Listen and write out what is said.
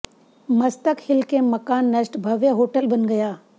मस्तक हिल के मकान नष्ट भव्य होटल बन गया